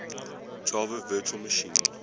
java virtual machine